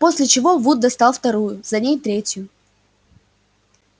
после чего вуд достал вторую за ней третью